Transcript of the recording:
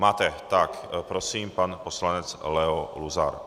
Máte, tak prosím, pan poslanec Leo Luzar.